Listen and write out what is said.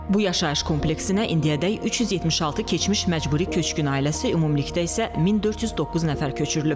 Bu yaşayış kompleksinə indiyədək 376 keçmiş məcburi köçkün ailəsi ümumilikdə isə 1409 nəfər köçürülüb.